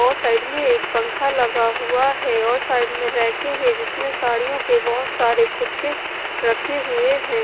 और साइड में एक पंखा लगा हुआ है और साइड में रैके हैं जिसमें साड़ियों के बहुत सारे खुक्के रखे हुए हैं।